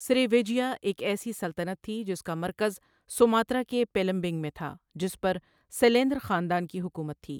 سری وِجَیا ایک ایسی سلطنت تھی جس کا مرکز سماترا کے پیلمبینگ میں تھا، جس پر سیلیندر خاندان کی حکومت تھی۔